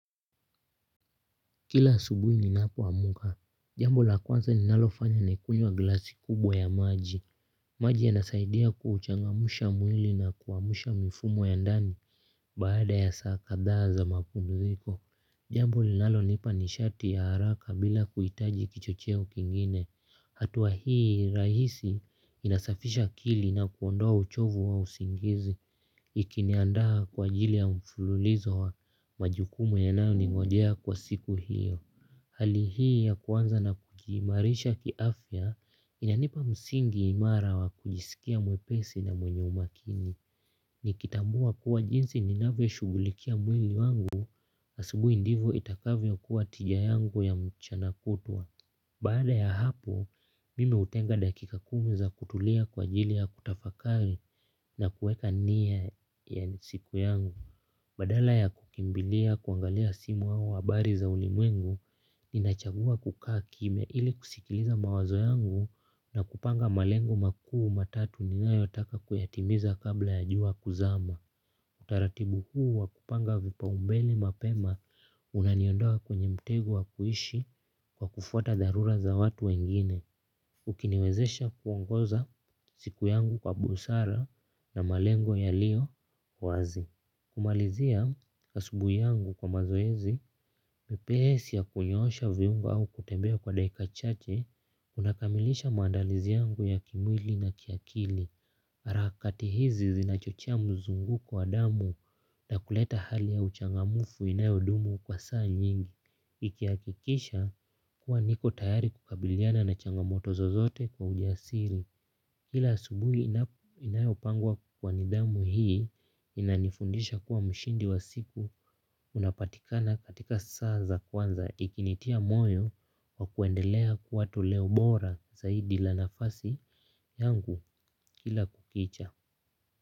Kila asubuhi ninapowamka, jambo la kwanza ninalofanya ni kunywa glasi kubwa ya maji. Maji yanasaidia kuuchangamsha mwili na kuamsha mifumo ya ndani baada ya saa kadhaa za mapumziko. Jambo linalonipa nishati ya haraka bila kuhitaji kichocheo kingine. Hatua hii rahisi inasafisha akili na kuondoa uchovu wa usingizi. Ikiniandaa kwa ajili ya mfululizo wa majukumu yanayoningojea kwa siku hiyo. Hali hii ya kuanza na kujiimarisha kiafya inanipa msingi imara wa kujisikia mwepesi na mwenye umakini. Nikitambua kuwa jinsi ninavyo shughulikia mwili wangu asubuhi ndivo itakavyo kuwa tija yangu ya mchana kutwa. Baada ya hapo, mimi hutenga dakika kumi za kutulia kwa ajili ya kutafakari na kuweka nia ya siku yangu. Badala ya kukimbilia kuangalia simu au habari za ulimwengu, ninachagua kukaa kimya ili kusikiliza mawazo yangu na kupanga malengo makuu matatu ninayotaka kuyatimiza kabla ya jua kuzama. Utaratibu huu wa kupanga vipaumbele mapema unaniondoa kwenye mtego wa kuishi kwa kufuata dharura za watu wengine. Ukiniwezesha kuongoza siku yangu kwa busara na malengo yalio wazi. Kumalizia asubuhi yangu kwa mazoezi, mepesi ya kunyoosha viungo au kutembea kwa dakika chache, unakamilisha maandalizi yangu ya kimwili na kiakili harakati hizi zinachochea mzungunguko wa damu na kuleta hali ya uchangamfu inayodumu kwa saa nyingi. Ikihakikisha kuwa niko tayari kukabiliana na changamotozo zozote kwa ujasiri. Kila asubuhi inayopangwa kwa nidhamu hii inanifundisha kuwa mshindi wa siku unapatikana katika saa za kwanza ikinitia moyo wa kuendelea kuwa toleo bora zaidi la nafasi yangu kila kukicha.